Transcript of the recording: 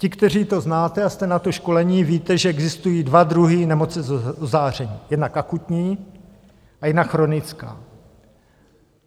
Ti, kteří to znáte a jste na to školení, víte, že existují dva druhy nemoci z ozáření, jednak akutní a jednak chronická.